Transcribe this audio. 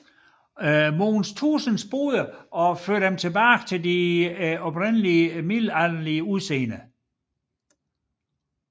Mogens Tuesens Boder og førte dem tilbage til deres middelalderlige udseende